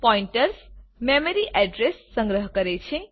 pointers memory address સંગ્રહ કરે છે